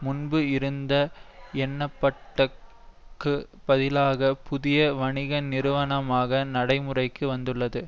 முன்பு இருந்த எனப்பட்ட க்குப் பதிலாக புதிய வணிக நிறுவனமாக நடைமுறைக்கு வந்துள்ளது